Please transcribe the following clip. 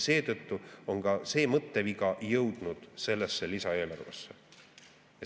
Seetõttu on see mõtteviga jõudnud ka sellesse lisaeelarvesse.